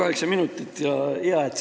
Palun kaheksa minutit!